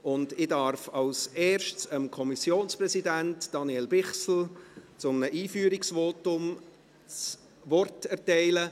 Ich darf als Erstes dem Kommissionspräsidenten, Daniel Bichsel, für ein Einführungsvotum das Wort erteilen.